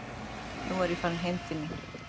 Nú er ég farin heim til mín.